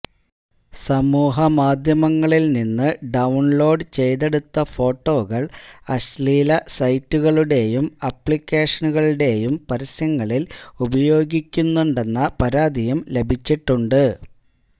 സമൂഹമാധ്യമങ്ങളിൽ നിന്ന് ഡൌൺലോഡ് ചെയ്തെടുത്ത ഫോട്ടോകൾ അശ്ളീല സൈറ്റുകളുടെയും ആപ്ളിക്കേഷനുകളുടെയും പരസ്യങ്ങളിൽ ഉപയോഗിക്കുന്നുണ്ടെന്ന പരാതിയും ലഭിച്ചിട്ടുണ്ട്